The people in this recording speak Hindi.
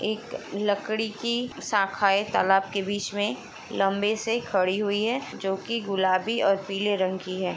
एक लकड़ी कि शाखाएं तालाब के बीच में लम्बे से खड़ी हुई है जो कि गुलाबी और पीले रंग कि हैं ।